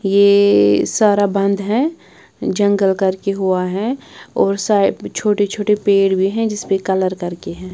यह सारा बंद है जंगल करके हुआ है और साइड छोटे-छोटे पेड़ भी हैं जिस पे कलर करके है।